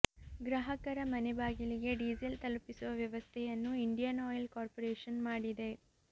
ಗ್ರಾಹಕರ ಮನೆ ಬಾಗಿಲಿಗೆ ಡೀಸೆಲ್ ತಲುಪಿಸುವ ವ್ಯಸವ್ಥೆಯನ್ನು ಇಂಡಿಯನ್ ಆಯಿಲ್ ಕಾರ್ಪೊರೇಷನ್ ಮಾಡಿದೆ